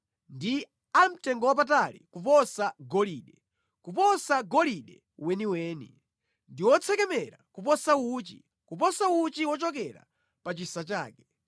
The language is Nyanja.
ndi a mtengowapatali kuposa golide, kuposa golide weniweni; ndi otsekemera kuposa uchi, kuposa uchi wochokera pa chisa chake.